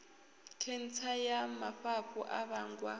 khentsa ya mafhafhu a vhangwa